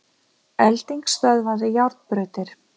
Elding stöðvaði járnbrautir